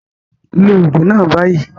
Take the medication now